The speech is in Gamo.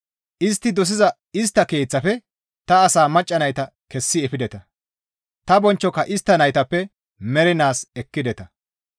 Istti dosiza istta keeththafe ta asa macca nayta kessi efideta; ta bonchchoka istta naytappe mernaas ekkideta.